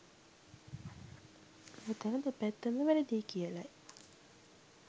මෙතන දෙපැත්තම වැරදියි කියලයි